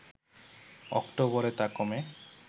অক্টোবরে তা কমে